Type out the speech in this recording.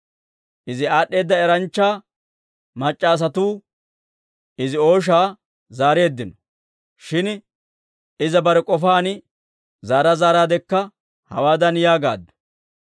Izi aad'd'eeda eranchcha mac'c'a asatuu Izi ooshaa zaareeddino. Shin iza bare k'ofaan zaara zaaraadekka hawaadan yaagaaddu;